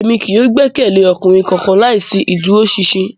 Emi kii yóò gbẹkẹle ọkunrin kankan laisi iduroṣinṣin